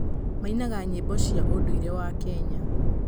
Mainaga nyĩmbo cia ũndũire wa Kenya.